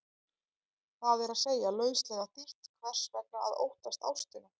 Það er að segja, lauslega þýtt, hvers vegna að óttast ástina?